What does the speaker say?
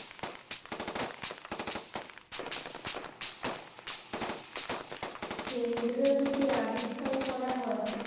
কেন্দ্র দুটি আবিষ্কার করা হয়